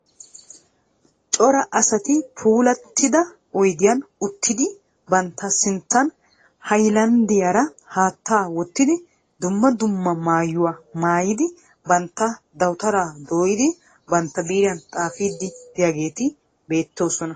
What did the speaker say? Cora asati puulattida oyidiyan uttidi bantta sinttan hayilanddiyaara haatta wottidi dumma dumma mayuwa mayyidi bantta dawutaraa dooyidi bantta biiriyan xaafiiddi diyageeti beettoosona.